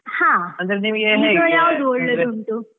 ಹಾ